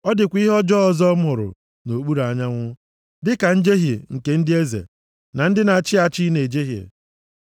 Ọ dịkwa ihe ọjọọ ọzọ m hụrụ nʼokpuru anyanwụ, dịka njehie nke ndị eze na ndị na-achị achị na-ejehie.